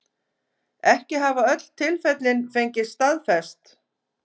Ekki hafa öll tilfellin fengist staðfest